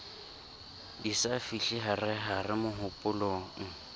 di sa fihle harehare mohopolong